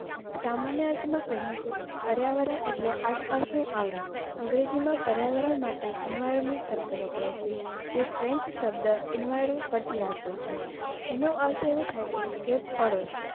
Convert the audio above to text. સામાન્ય અર્થમાં કહીએ તો પર્યાવરણ એટલે આસપાસનું આવરણ. અંગ્રેજીમાં પર્યાવરણ માટે Environment શબ્દ વપરાય છે. જે French શબ્દ Enviro પરથી આવ્યો છે એનો અર્થ એવો થાય છે કે પડોસ